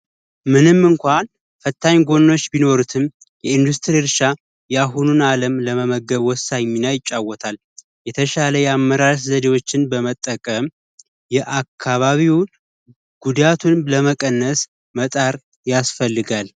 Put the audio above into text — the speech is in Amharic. ምንም እንኳን ፈታኝ ጎኖች ቢኖሩትም የኢንዱስትሪ እርሻ የአሁኑን አለም ለመመገብ ወሳኝ ሚና ይጫወታል። የተሻለ የአመራረት ዘዴዎችን በመጠቀም የአካባቢውን ጉዳቱን ለመቀነስ መጣር ያስፈልጋል ደ